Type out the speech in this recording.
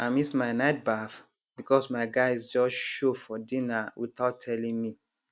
i miss my night baff because my guys just show for dinner without telling me